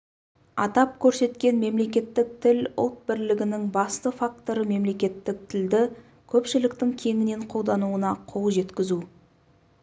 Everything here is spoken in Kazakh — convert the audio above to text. атап көрсеткен мемлекеттік тіл ұлт бірлігінің басты факторы мемлекеттік тілді көпшіліктің кеңінен қолдануына қол жеткізу